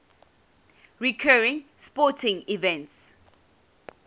recurring sporting events